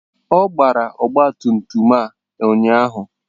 Ọ gbara ọgba tum tum a ụnyaahụ?